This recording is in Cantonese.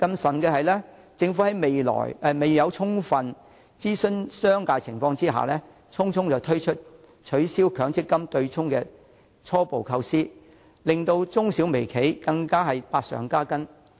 此外，政府未有充分諮詢商界，便匆匆推出取消強制性公積金對沖的初步構思，以致中小微企百上加斤。